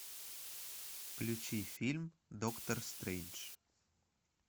включи фильм доктор стрейндж